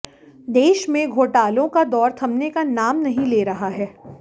देश में घोटालों का दौर थमने का नाम नहीं ले रहा है